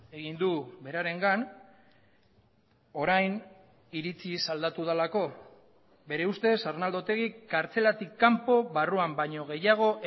egin du berarengan orain iritziz aldatu delako bere ustez arnaldo otegik kartzelatik kanpo barruan baino gehiago